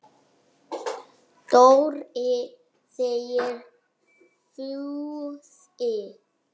Dóri! sagði Fúsi.